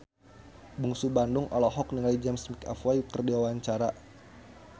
Bungsu Bandung olohok ningali James McAvoy keur diwawancara